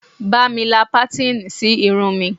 Ba mi la patini sí irun mi